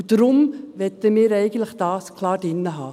Deshalb wollen wir das eigentlich klar drin haben.